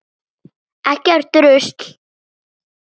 Ekkert rusl.